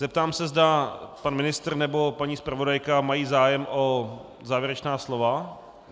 Zeptám se, zda pan ministr nebo paní zpravodajka mají zájem o závěrečná slova.